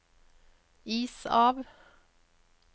is av